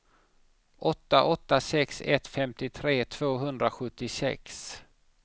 åtta åtta sex ett femtiotre tvåhundrasjuttiosex